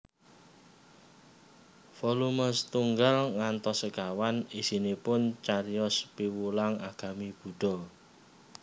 Volume setunggal ngantos sekawan isinipun cariyos piwulang agami Buddha